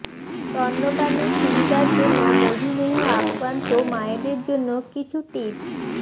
স্তন্যপানে সুবিধার জন্য মধুমেহ আক্রান্ত মায়েদের জন্য কিছু টিপস